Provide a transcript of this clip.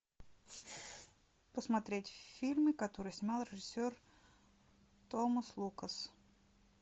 посмотреть фильмы которые снимал режиссер томас лукас